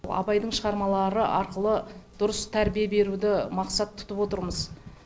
абайдың шығармалары арқылы дұрыс тәрбие беруді мақсат тұтып отырмыз